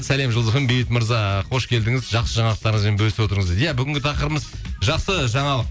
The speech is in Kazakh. сәлем жұлдыз фм бейбіт мырза қош келдіңіз жақсы жаңалықтарыңызбен бөлісіп отырыңыз дейді иә бүгінгі тақырыбымыз жақсы жаңалық